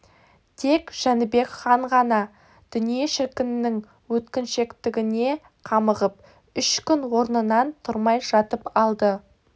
тек жәнібек хан ғана дүние шіркіннің өткіншектігіне қамығып үш күн орнынан тұрмай жатып алды